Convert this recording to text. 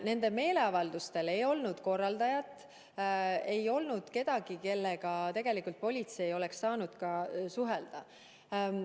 Nendel meeleavaldustel ei olnud korraldajat, ei olnud kedagi, kellega politsei oleks saanud suhelda.